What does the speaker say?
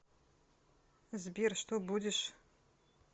сбер что будешь